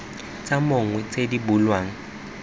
tsa mong tse di bulwang